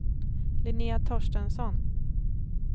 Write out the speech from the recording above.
Linnéa Torstensson